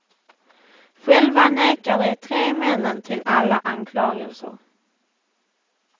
Själva nekar de tre männen till alla anklagelser.